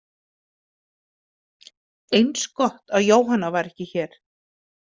Eins gott að Jóhanna var ekki hér.